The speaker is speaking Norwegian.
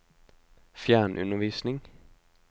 fjernundervisning